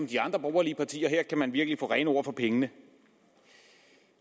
de andre borgerlige partier for her kan man virkelig få rene ord for pengene